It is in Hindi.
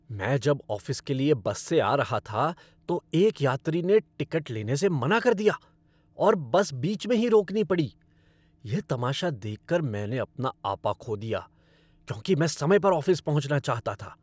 मैं जब ऑफ़िस के लिए बस से आ रहा था, तो एक यात्री ने टिकट लेने से मना कर दिया और बस बीच में ही रोकनी पड़ी। यह तमाशा देखकर मैंने अपना आपा खो दिया, क्योंकि मैं समय पर ऑफ़िस पहुँचना चाहता था।